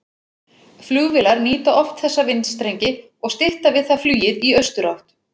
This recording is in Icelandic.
Flugvélar nýta oft þessa vindstrengi og stytta við það flugið í austurátt.